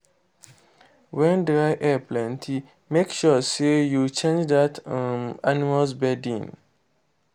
wen dry air plenty make sure say u change that um animals bedding